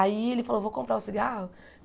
Aí ele falou, vou comprar o cigarro?